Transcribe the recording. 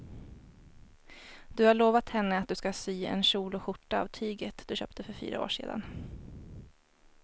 Du har lovat henne att du ska sy en kjol och skjorta av tyget du köpte för fyra år sedan.